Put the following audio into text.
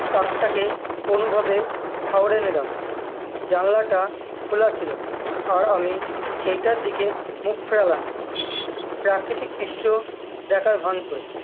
তাকটাকে অনুভবে ঠাওরে নিলাম জানলাটা খোলা ছিল আর আমি সেইটার দিকে মুখ ফেরালাম প্রাকৃতিক দৃশ্য দ্যাখার ভ্যান করে